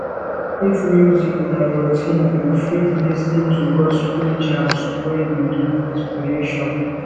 if music na your thing you fit lis ten to gospel jams wey dey give inspiration